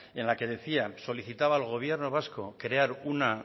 en la que solicitaba al gobierno vasco crear